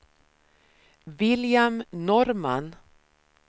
William Norrman